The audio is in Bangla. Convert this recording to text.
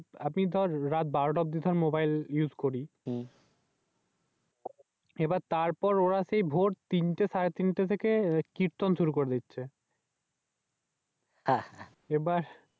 দর রাত বারোটা অব্দি মোবাইল Use করি। এবার তারপর ওরা সেই ভোর তিনটা সারে তিনটা থেকে কির্ত্ন শুরু করে দিচ্ছে। এবার